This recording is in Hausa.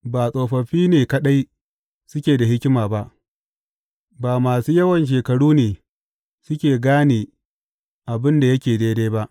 Ba tsofaffi ne kaɗai suke da hikima ba, ba masu yawan shekaru ne suke gane abin da yake daidai ba.